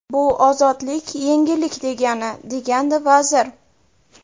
Bu ozodlik, yengillik degani”, degandi vazir.